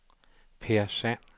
Peer Sand